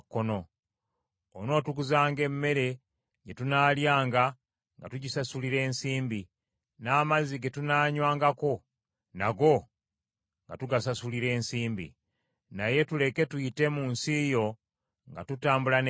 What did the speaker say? Onootuguzanga emmere gye tunaalyanga nga tugisasulira ensimbi, n’amazzi ge tunaanywangako, nago nga tugasasulira ensimbi. Naye tuleke tuyite mu nsi yo nga tutambula n’ebigere,